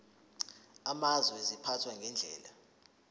amazwe ziphathwa ngendlela